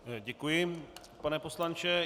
Děkuji, pane poslanče.